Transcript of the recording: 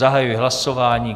Zahajuji hlasování.